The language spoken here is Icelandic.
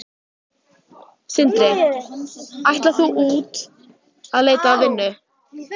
Sindri: Ætlar þú út að leita að vinnu?